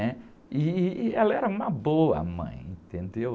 né? Ih, ih, e ela era uma boa mãe, entendeu?